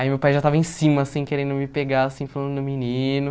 Aí meu pai já estava em cima, assim, querendo me pegar, assim, falando menino.